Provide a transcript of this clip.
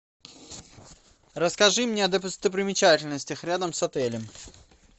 расскажи мне о достопримечательностях рядом с отелем